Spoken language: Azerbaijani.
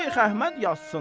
Şeyx Əhməd yazsın.